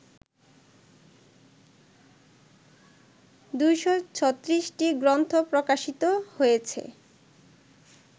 ২৩৬টি গ্রন্থ প্রকাশিত হয়েছে